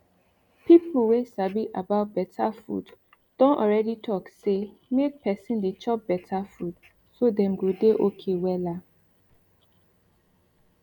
people wey sabi about better food don already talk say make person dey chop better food so dem go dey okay wella